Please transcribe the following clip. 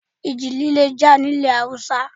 Ìji líle jà nílẹ̀ Haúsá.